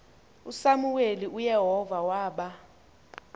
usamuweli uyehova waba